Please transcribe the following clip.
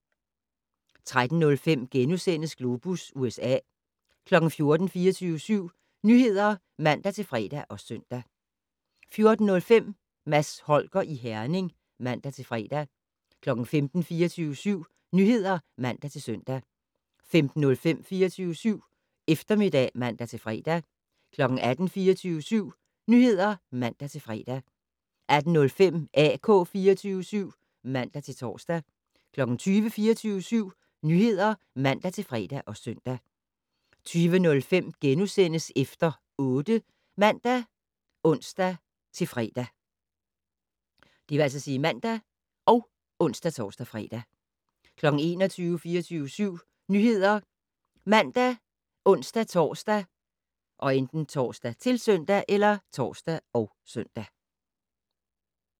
13:05: Globus USA * 14:00: 24syv Nyheder (man-fre og søn) 14:05: Mads Holger i Herning (man-fre) 15:00: 24syv Nyheder (man-søn) 15:05: 24syv Eftermiddag (man-fre) 18:00: 24syv Nyheder (man-fre) 18:05: AK 24syv (man-tor) 20:00: 24syv Nyheder (man-fre og søn) 20:05: Efter 8 *(man og ons-fre) 21:00: 24syv Nyheder ( man, ons-tor, -søn)